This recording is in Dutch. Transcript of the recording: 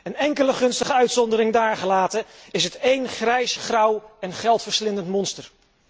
Een enkele gunstige uitzondering daargelaten, is het één grijs, grauw en geldverslindend monster.